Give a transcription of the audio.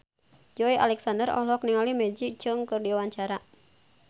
Joey Alexander olohok ningali Maggie Cheung keur diwawancara